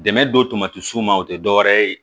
Dɛmɛ don tamati sun ma o tɛ dɔwɛrɛ ye